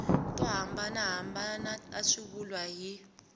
to hambanahambana ta swivulwa hi